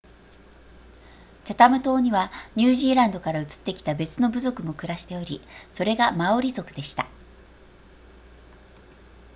チャタム島にはニュージーランドから移ってきた別の部族も暮らしておりそれがマオリ族でした